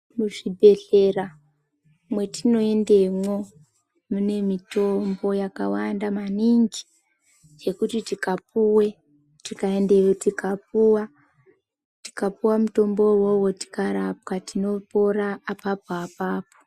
Muzvibhehlera mwetino endemwo mune mutombo yakanaka maningi yekuti tikapuwe tikaende tikapuwa mutombo iwowo tinopora apapo apapo.